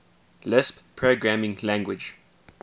lisp programming language